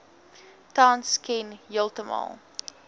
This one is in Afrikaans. tans ken heeltemal